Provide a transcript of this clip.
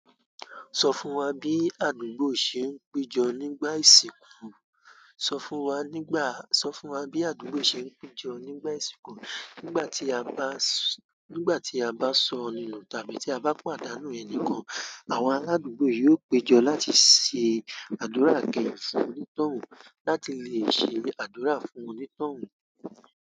Sọ fún wa bí àdúgbò ṣe ń péjọ nígbà ìsìnkú? Sọ fún wa nígbà, sọ fún wa bí àdúgbò ṣe ń péjọ nígbà ìsìnkú. Nígbà tí a bá, nígbà tí a bá sọnù tàbí tí a bá pàdánù ẹni kan, àwọn aládùúgbò yóò péjọ láti ṣe àdúrà ìkẹyìn fún onítọ̀hun láti lè ṣe àdúrà fún onítọ̀hún.